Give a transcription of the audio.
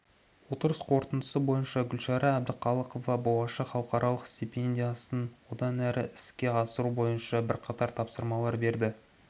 отырыс қорытындысы бойынша гүлшара әбдіқалықова болашақ халықаралық стипендиясын одан әрі іске асыру бойынша бірқатар тапсырмалар берді